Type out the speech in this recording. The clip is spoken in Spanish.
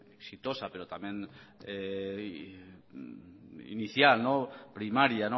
exitosa pero también inicial primaria